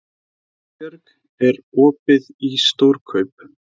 Elínbjörg, er opið í Stórkaup?